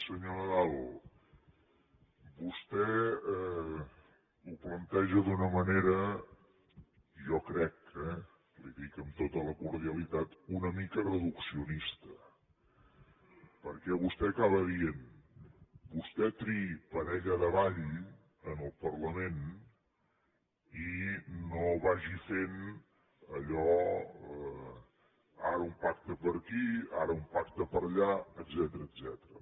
senyor nadal vostè ho planteja d’una manera jo crec eh li ho dic amb tota la cordialitat una mica reduccionista perquè vostè acaba dient vostè triï parella de ball en el parlament i no vagi fent allò ara un pacte per aquí ara un pacte per allà etcètera